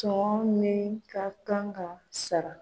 Sɔngɔ min ka kan ka sara